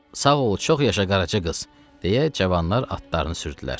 Sağ ol, çox yaşa Qaraca qız, deyə cavanlar atlarını sürdülər.